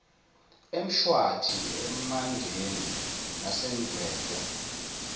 emshwathi emandeni nasendwedwe